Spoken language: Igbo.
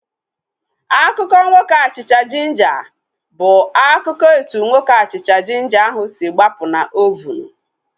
Akụkọ nwoke achịcha jinja bụ akụkọ etu nwoke achịcha jinja ahu si gbapụ na ovunu